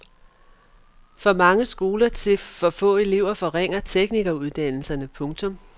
For mange skoler til for få elever forringer teknikeruddannelserne. punktum